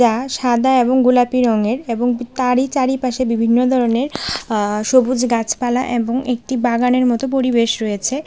এটা সাদা এবং গোলাপি রঙের এবং তারই চারিপাশে বিভিন্ন দরনের আ সবুজ গাছপালা এবং একটি বাগানের মতো পরিবেশ রয়েছে।